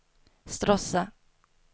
Stråssa